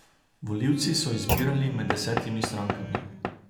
Volivci so izbirali med desetimi strankami.